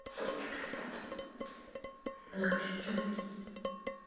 настя